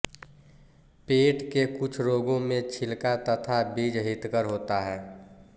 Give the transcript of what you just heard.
पेट के कुछ रोगों में छिलका तथा बीज हितकर होता है